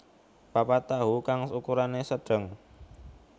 papat tahu kang ukurane sedeng